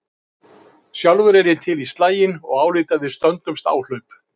Sjálfur er ég til í slaginn og álít að við stöndumst áhlaup.